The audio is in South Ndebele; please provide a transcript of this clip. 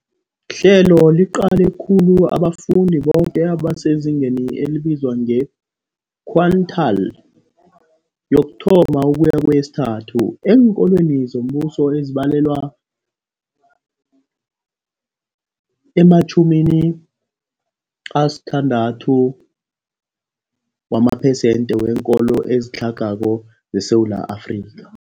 Ihlelo liqale khulu abafundi boke abasezingeni elibizwa nge-quintile 1-3 eenkolweni zombuso, ezibalelwa ema-60 wamaphesenthe weenkolo ezitlhagako zeSewula Afrika.